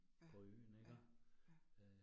Ja, ja, ja